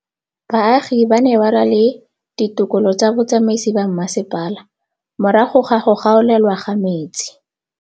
Baagi ba ne ba lwa le ditokolo tsa botsamaisi ba mmasepala morago ga go gaolelwa kabo metsi